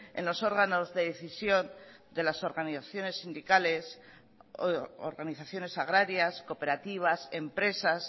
en los órganos de decisión de las organizaciones sindicales organizaciones agrarias cooperativas empresas